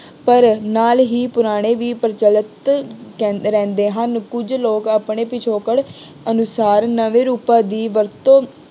ਪਰ ਨਾਲ ਹੀ ਪੁਰਾਣੇ ਹੀ ਪ੍ਰਚਲਿਤ ਕਹਿੰਦੇ ਰਹਿੰਦੇ ਹਨ। ਕੁੱਝ ਲੋਕ ਆਪਣੇ ਪਿਛੋਕੜ ਅਨੁਸਾਰ ਨਵੇਂ ਰੂਪਾਂ ਦੀ ਵਰਤੋਂ